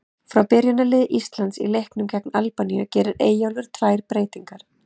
Frá byrjunarliði Íslands í leiknum gegn Albaníu gerir Eyjólfur tvær breytingar.